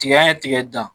Tigɛ an ye tigɛ dan